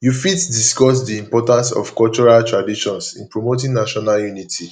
you fit discuss di importance of cultural traditions in promoting national unity